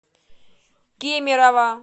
кемерово